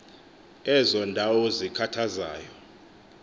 ezo ndawo zikhathazayo